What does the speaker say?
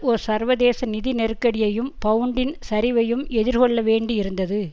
ஒ சர்வதேச நிதி நெருக்கடியையும் பவுண்டின் சரிவையும் எதிர்கொள்ள வேண்டியிருந்தது